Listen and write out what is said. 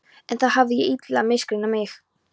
En þar hafði ég illilega misreiknað mig.